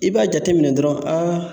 I b'a jateminɛ dɔrɔn aa